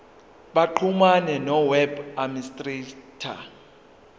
baxhumane noweb administrator